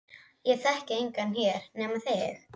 Ég þekki engan hér nema þig.